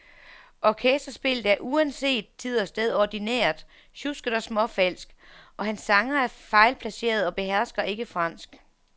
Orkesterspillet er uanset tid og sted ordinært, sjusket og småfalsk, og hans sangere er fejlplacerede og behersker ikke fransk.